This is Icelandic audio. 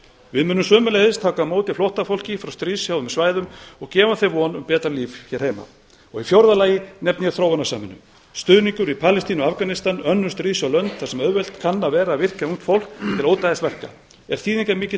við munum sömuleiðis taka á móti flóttafólki frá stríðshrjáðum svæðum og gefa því von um betra líf hér heima í fjórða lagi nefni ég þróunarsamvinnu stuðningur við palestínu og afganistan og önnur stríðshrjáð lönd þar sem auðvelt kann að vera að virkja ungt fólk til ódæðisverka er þýðingarmikill